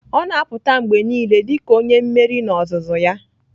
Ọ na-apụta mgbe niile dị ka onye mmeri n'ozuzu ya